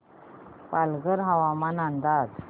पालघर हवामान अंदाज